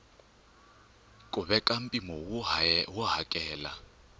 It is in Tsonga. ku veka mpimo wo hakela